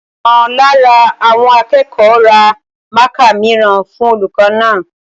Ọ̀kan nínú àwọn akẹ́kọ̀ọ́ ra mákà mìíràn fún olùkọ́ náà